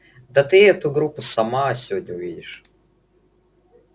да ты эту группу сама сегодня увидишь